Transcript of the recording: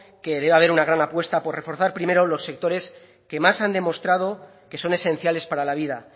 que debe haber una gran apuesta por reforzar primero los sectores que más han demostrado que son esenciales para la vida